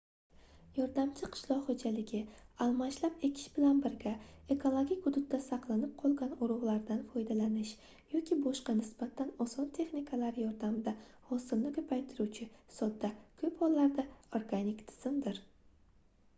yordamchi qishloq xoʻjaligi almashlab ekish bilan birga ekologik hududda saqlanib qolgan urugʻlardan foydalanish yoki boshqa nisbatan oson texnikalar yordamida hosilni koʻpaytiruvchi sodda koʻp hollarda organik tizimdir